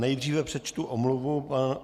Nejdříve přečtu omluvu.